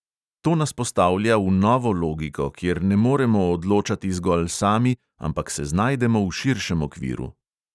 To nas postavlja v novo logiko, kjer ne moremo odločati zgolj sami, ampak se znajdemo v širšem okviru.